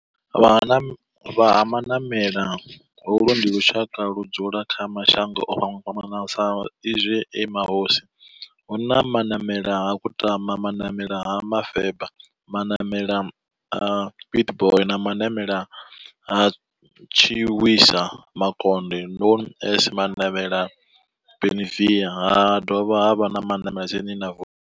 Vha Ha-Manamela, holu ndi lushaka ludzula kha mashango ofhambanaho sa izwi e mahosi hu na Manamela ha Kutama, Manamela ha Mufeba, Manamela ha Pietboi na Manavhela ha Tshiwisa Makonde known as Manavhela Benlavin ha dovha havha na Manavhela tsini.